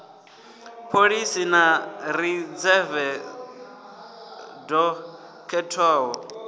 pholisa ḽa ridzeve ḽo khethwaho